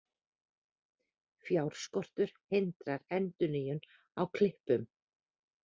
Fjárskortur hindrar endurnýjun á klippum